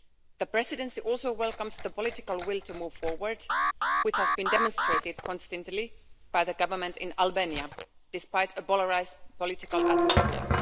The Presidency also welcomes the political will to move forward, which has been demonstrated constantly by the Government in Albania, despite a polarised political atmosphere.